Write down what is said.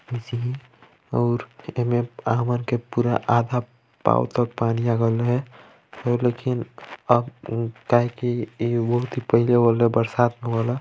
--मिसिहि और एमे हमन के पूरा आधा पाँव तक पानी आगल है और लेकिन अ-उ-काहे की इ बहुत ही पहले वाला बरसात वाला--